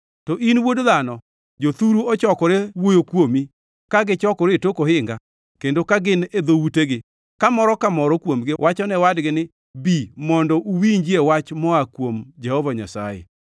“To in, wuod dhano, jothuru ochokore wuoyo kuomi ka gichokore e tok ohinga kendo ka gin e dhoutegi, ka moro ka moro kuomgi wacho ne wadgi ni, ‘Bi mondo uwinjie wach moa kuom Jehova Nyasaye.’